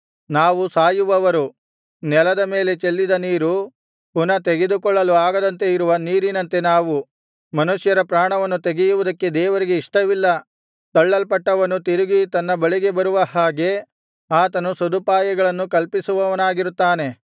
ನಾವು ಸಾಯುವವರು ನೆಲದ ಮೇಲೆ ಚೆಲ್ಲಿದ ನೀರು ಪುನಃ ತೆಗೆದುಕೊಳ್ಳಲು ಆಗದಂತೆ ಇರುವ ನೀರಿನಂತೆ ನಾವು ಮನುಷ್ಯರ ಪ್ರಾಣವನ್ನು ತೆಗೆಯುವುದಕ್ಕೆ ದೇವರಿಗೆ ಇಷ್ಟವಿಲ್ಲ ತಳ್ಳಲ್ಪಟ್ಟವನು ತಿರುಗಿ ತನ್ನ ಬಳಿಗೆ ಬರುವ ಹಾಗೆ ಆತನು ಸದುಪಾಯಗಳನ್ನು ಕಲ್ಪಿಸುವವನಾಗಿರುತ್ತಾನೆ